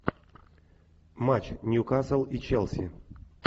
матч ньюкасл и челси